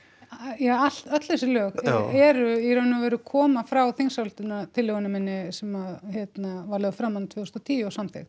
já öll þessi lög eru í raun og veru koma frá þingsályktunartillögunni minni sem hérna var lögð fram þarna tvö þúsund og tíu og samþykkt